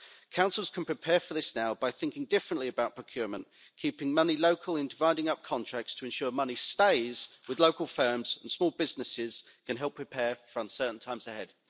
Councils can prepare for this now by thinking differently about procurement, keeping money local in dividing up contracts to ensure money stays with local firms, and small businesses can help prepare for uncertain times ahead.